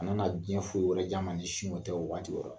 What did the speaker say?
Ka nana diɲɛ foyi wɛrɛ di a ma ni sin o tɛ o waati yɛrɛ la.